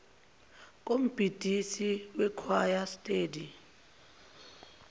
kombhidisi wekhwaya steady